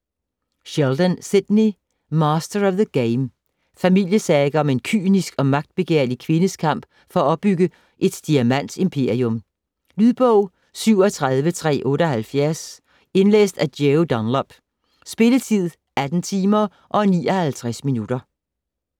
Sheldon, Sidney: Master of the game Familiesaga om en kynisk og magtbegærlig kvindes kamp for at opbygge et diamantimperium. Lydbog 37378 Indlæst af Joe Dunlop. Spilletid: 18 timer, 59 minutter.